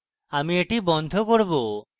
আমি এটি বন্ধ করব